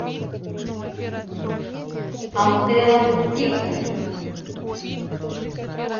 антелла викторовна